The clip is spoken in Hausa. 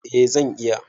Eh zan iya.